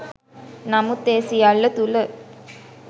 නමුත් ඒ සියල්ල තුළ